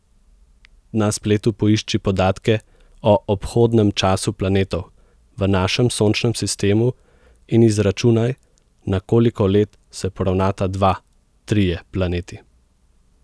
Na spletu poišči podatke o obhodnem času planetov v našem sončnem sistemu in izračunaj, na koliko let se poravnata dva, trije planeti.